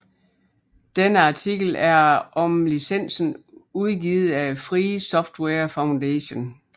Denne artikel er om licensen udgivet af Free Software Foundation